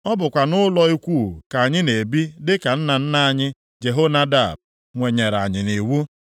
Ọ bụkwa nʼụlọ ikwuu ka anyị na-ebi dị ka nna nna anyị Jehonadab nyere anyị nʼiwu.